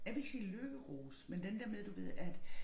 Jeg vil ikke sige lykkerus men den der med du ved at